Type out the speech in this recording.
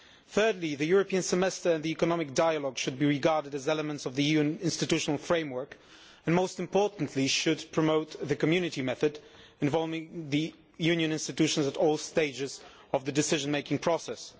Thirdly, the European Semester and the economic dialogue should be regarded as elements of the EU institutional framework and, most importantly, should promote the Community method involving the Union institutions at all stages of the decision making process.